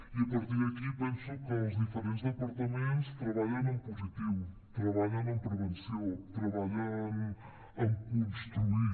i a partir d’aquí penso que els diferents departaments treballen en positiu treballen en prevenció treballen en construir